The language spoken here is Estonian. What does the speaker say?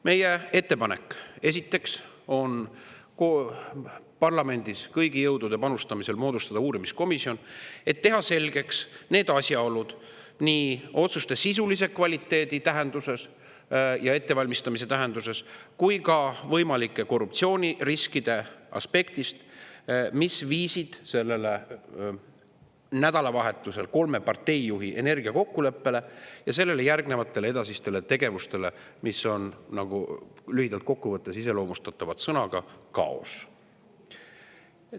Meie ettepanek, esiteks, on parlamendis kõigi jõudude panustamisel moodustada uurimiskomisjon, et teha selgeks asjaolud nii otsuste sisulise kvaliteedi tähenduses ja ettevalmistamise tähenduses kui ka võimalike korruptsiooniriskide aspektist, mis viisid sellel nädalavahetusel kolme partei juhi energiakokkuleppele ja sellele järgnevatele edasistele tegevustele, mis on lühidalt kokku võttes iseloomustatavad sõnaga "kaos".